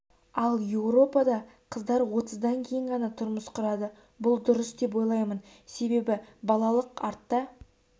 ал еуропада қыздар отыздан кейін ғана тұрмыс құрады бұл дұрыс деп ойлаймын себебі балалық артта